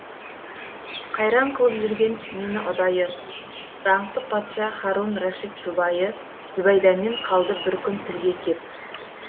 қайран қылып жүрген мені ұдайы даңқты патша харун рашид жұбайы зүбәйдамен қалды бір күн тілге кеп